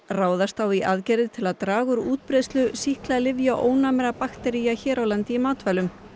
ráðast á í aðgerðir til að draga úr útbreiðslu sýklalyfjaónæmra baktería hér á landi í matvælum